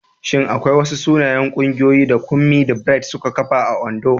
Shin akwai wasu sanannun ƙungiyoyi da Kunmi da Bright suka kafa a Ondo?